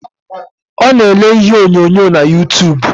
Ọ na ele ihe onyonyo na yutub